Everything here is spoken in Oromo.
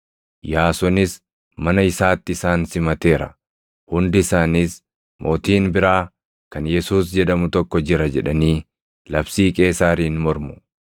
Yaasonis mana isaatti isaan simateera. Hundi isaaniis, ‘Mootiin biraa kan Yesuus jedhamu tokko jira’ jedhanii labsii Qeesaariin mormu.”